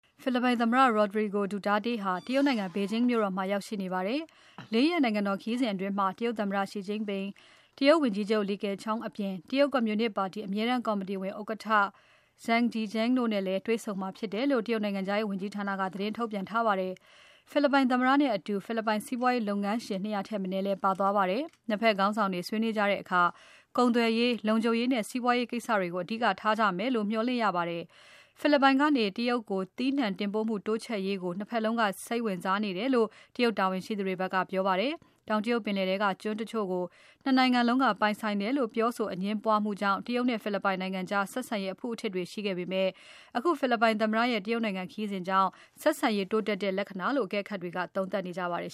ဖိလစ်ပိုင်သမ္မတ Rodrigo Duterte ဟာ တရုတ်နိုင်ငံ ဘေဂျင်းမြို့တော်မှာ ရောက်ရှိနေပါတယ်။ ၄ ရက်နိုင်ငံတော်ခရီးစဉ်အတွင်း တရုတ်သမ္မတ ရ Xi Jinping ၊ ဝန်ကြီးချုပ် Li Keqiang တို့အပြင် တရုတ်ကွန်မြူနစ်ပါတီ အမြဲတမ်းကော်မတီဥက္ကဋ္ဌ Zhang Dejiang တို့နဲ့ တေ့ွဆုံမှာဖြစ်တယ်လို့ တရုတ်နိုင်ငံခြားရေးဝန်ကြီးဌာနက သတင်းထုတ်ပြန်ထားပါတယ်။ ဖိလစ်ပိုင်သမ္မတနဲ့အတူ ဖိလစ်ပိုင်စီးပွားရေးလုပ်ငန်းလုပ်ငန်းရှင် ၂၀၀ ထက်မနည်း ပါသွားပါတယ်။ ၂ ဖက်ခေါင်းဆောင်တွေ ဆွေးနွေးကြတဲ့အခါ ကုန်သွယ်ရေး၊ လုံခြုံရေးနဲ့ စီးပွားရေးကိစ္စတွေကို အဓိကထားကြမယ်လို့ မျှော်လင့်ရပါတယ်။ ဖိလစ်ပိုင်ကနေ တရုတ်ကို သီးနှံတင်ပို့မှုတိုးချဲ့ရေးကို ၂ ဖက်လုံးက စိတ်ဝင်စားနေကြတယ်လို့ တရုတ်တာဝန်ရှိသူတွေက ပြောပါတယ်။ တောင်တရုတ်ပင်လယ်ထဲက ကျွန်းတချို့ကို ၂ နိုင်ငံလုံးက ပိုင်ဆိုင်တယ်လို့ ပြောဆို အငြင်းပွားမှုကြောင့် တရုတ်နဲ့ ဖိလစ်ပိုင်ကြား ဆက်ဆံရေးအဖုအထစ်တွေ ရှိခဲ့ပေမဲ့ အခုဖိလစ်ပိုင်သမ္မတရဲ့ တရုတ်နိုင်ငံခရီးစဉ်ကြောင့် ဆက်ဆံရေးတိုးတက်လာတဲ့ လက္ခဏ္ဍာလို့ အကဲခတ်တွေက သုံးသပ်နေကြပါတယ်